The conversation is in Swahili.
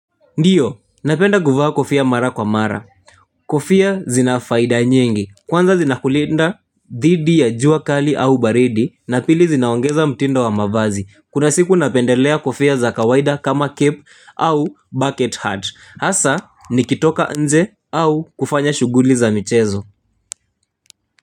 Ndiyo, napenda kufaa kofia mara kwa mara. Kofia zina faida nyingi, kwanza zinakulinda dhidi ya jua kali au baridi, na pili zinaongeza mtindo wa mavazi. Kuna siku napendelea kofia za kawaida kama cap au bucket heart. Hasa, nikitoka nje au kufanya shughuli za michezo.